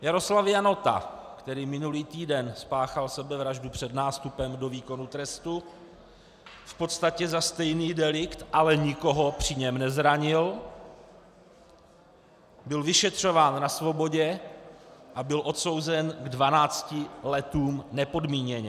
Jaroslav Janota, který minulý týden spáchal sebevraždu před nástupem do výkonu trestu v podstatě za stejný delikt, ale nikoho při něm nezranil, byl vyšetřován na svobodě a byl odsouzen k dvanácti letům nepodmíněně.